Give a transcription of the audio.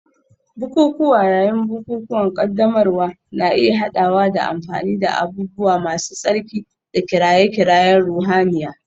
Bukukuwa yayin bukukuwan ƙaddamarwa na iya haɗawa da amfani da abubuwa masu tsarki da kiraye-kirayen ruhaniya.